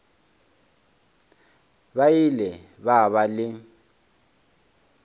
ba ile ba ba le